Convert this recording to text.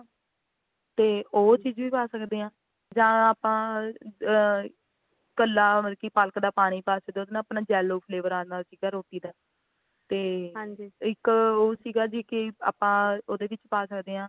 ਤੇ ਉਹ ਚੀਜ਼ ਵੀ ਪਾ ਸਕਦੇ ਆ ਜਾਂ ਆਪਾ ਇੱਕਲਾ ਪਾਲਕ ਦਾ ਪਾਣੀ ਪਾ ਸਕਦੇ ਆ ਉਹਦੇ ਨਾਲ ਆਪਣਾ yellow flavor ਆਂਦਾ ਰੋਟੀ ਦਾ ਤੇ ਇੱਕ ਉਹ ਸੀਗਾ ਵੀ ਕੇ ਆਪਾ ਉਹਦੇ ਵਿੱਚ ਪਾ ਸਕਦੇ ਆ